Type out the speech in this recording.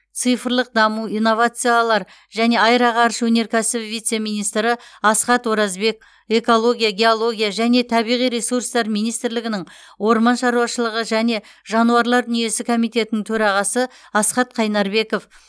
цифрлық даму инновациялар және аэроғарыш өнеркәсібі вице министрі асхат оразбек экология геология және табиғи ресурстар министрлігінің орман шаруашылығы және жануарлар дүниесі комитетінің төрағасы асхат қайнарбеков